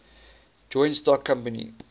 joint stock company